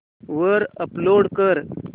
वर अपलोड कर